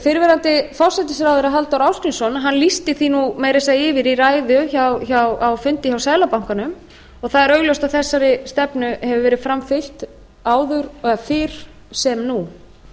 fyrrverandi forsætisráðherra halldór ásgrímsson lýsti því meira að segja yfir í ræðu á fundi hjá seðlabankanum og það er augljóst að þessari stefnu gefur verið framfylgt áður eða fyrr sem nú